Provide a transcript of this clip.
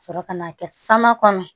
Ka sɔrɔ ka n'a kɛ sama kɔnɔ